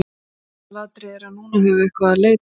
Aðalatriðið er að núna höfum við eitthvað til að leita að.